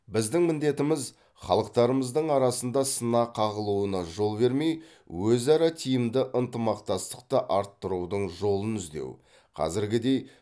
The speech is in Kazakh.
біздің міндетіміз халықтарымыздың арасына сына қағылуына жол бермей өзара тиімді ынтымақтастықты арттырудың жолын іздеу қазіргідей